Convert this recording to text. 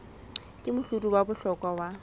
ke mohlodi wa bohlokwa wa